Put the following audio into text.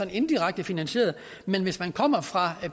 jo indirekte finansieret men hvis man kommer fra